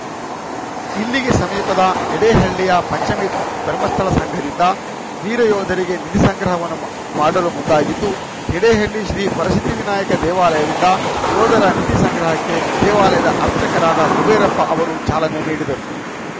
ಇಲ್ಲಿಗೆ ಸಮೀಪದ ಯಡೇಹಳ್ಳಿಯ ಪಂಚಮಿ ಧರ್ಮಸ್ಥಳ ಸಂಘದಿಂದ ವೀರ ಯೋಧರಿಗೆ ನಿಧಿ ಸಂಗ್ರಹವನ್ನು ಮಾಡಲು ಮುಂದಾಗಿದ್ದು ಯಡೇಹಳ್ಳಿ ಶ್ರೀ ವರಸಿದ್ಧಿವಿನಾಯಕ ದೇವಾಲಯದಿಂದ ಯೋಧರ ನಿಧಿ ಸಂಗ್ರಹಕ್ಕೆ ದೇವಾಲಯದ ಅರ್ಚಕರಾದ ಕುಬೇರಪ್ಪ ಅವರು ಚಾಲನೆ ನಿಡಿದರು